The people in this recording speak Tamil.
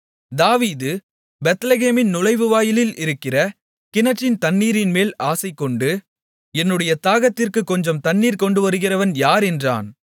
தாவீது பெத்லெகேமின் நுழைவுவாயிலில் இருக்கிற கிணற்றின் தண்ணீரின்மேல் ஆசைகொண்டு என்னுடைய தாகத்திற்குக் கொஞ்சம் தண்ணீர் கொண்டுவருகிறவன் யார் என்றான்